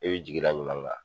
I be jigi da ɲuman kan